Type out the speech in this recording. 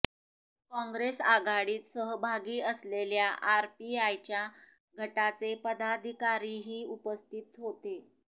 काँग्रेस आघाडीत सहभागी असलेल्या आरपीआयच्या गटाचे पदाधिकारीही उपस्थित होते